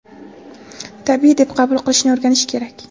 tabiiy deb qabul qilishni o‘rganish kerak.